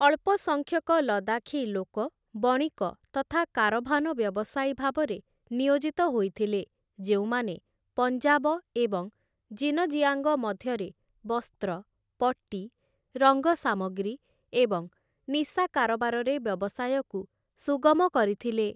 ଅଳ୍ପ ସଂଖ୍ୟକ ଲଦାଖି ଲୋକ, ବଣିକ ତଥା କାରଭାନ ବ୍ୟବସାୟୀ ଭାବରେ ନିୟୋଜିତ ହୋଇଥିଲେ, ଯେଉଁମାନେ ପଞ୍ଜାବ ଏବଂ ଜିନଜିଆଙ୍ଗ ମଧ୍ୟରେ ବସ୍ତ୍ର, ପଟି, ରଙ୍ଗ ସାମଗ୍ରୀ ଏବଂ ନିଶା କାରବାରରେ ବ୍ୟବସାୟକୁ ସୁଗମ କରିଥିଲେ ।